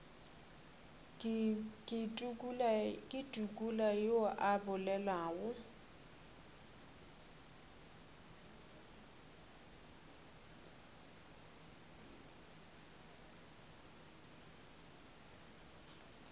ke tukula yo a bolelago